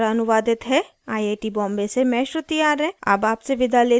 यह स्क्रिप्ट प्रभाकर द्वारा अनुवादित है आई आई टी बॉम्बे से मैं श्रुति आर्य अब आपसे विदा लेती हूँ